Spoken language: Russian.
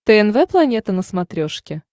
тнв планета на смотрешке